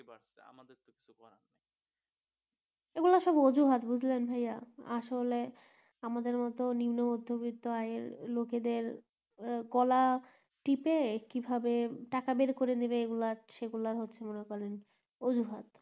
এগুলা সব অজুহাত বুঝলেন ভাইয়া আসলে আমাদের মতো নিম্ন মধ্যে বিত্ত আই লোকেদের গলা টিপে কি ভাবে টাকা বের করে নিবে এগুলার সেগুলার হচ্ছে মনে করেন অজুহাত